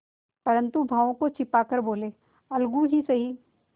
परंतु भावों को छिपा कर बोलेअलगू ही सही